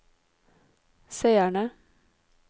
seere